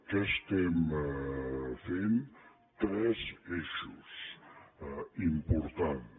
què estem fent tres eixos importants